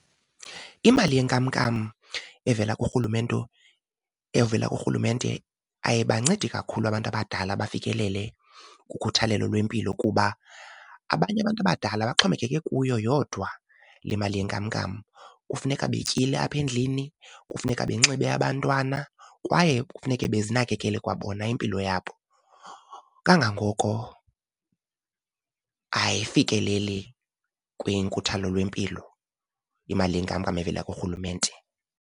Imali yenkamnkam evela kuRhulumente, evela kuRhulumente ayibancedi kakhulu abantu abadala bafikelele kukhathalelo lwempilo, kuba abanye abantu abadala baxhomekeke kuyo yodwa le mali yenkamnkam. Kufuneka betyile apha endlini, kufuneka benxibe abantwana kwaye kufuneke bezinakekele kwabona impilo yabo. Kangangoko ayifikeleli kwinkuthalo lwempilo imali yenkamnkam evela kuRhulumente.